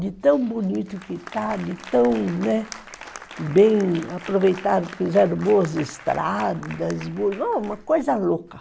De tão bonito que está, de tão, né, bem aproveitado, fizeram boas estradas, uma coisa louca.